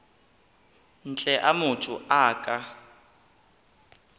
ntle a motho a ka